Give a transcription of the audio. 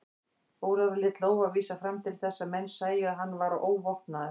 Ólafur lét lófa vísa fram til þess að menn sæju að hann var óvopnaður.